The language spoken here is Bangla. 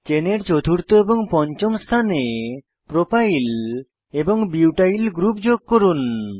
চেনের চতুর্থ ও পঞ্চম স্থানে প্রপাইল প্রোপাইল এবং বিউটাইল বিউটাইল গ্রুপ যোগ করুন